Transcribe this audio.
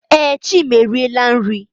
Ee, Chima eriela nri.